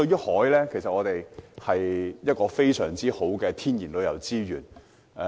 海是我們極佳的天然旅遊資源。